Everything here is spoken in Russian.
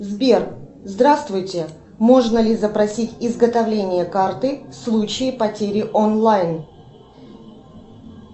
сбер здравствуйте можно ли запросить изготовление карты в случае потери онлайн